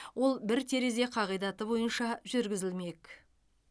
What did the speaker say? ол бір терезе қағидаты бойынша жүргізілмек